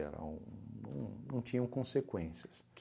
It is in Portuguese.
Eram não não tinham consequências.